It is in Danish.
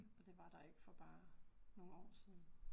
Og det var der ikke for bare nogle år siden